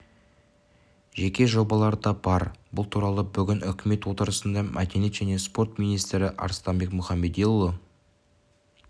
жеке жобалар да бар бұл туралы бүгін үкімет отырысында мәдениет және спорт министрі арыстанбек мұхамедиұлы